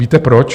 Víte proč?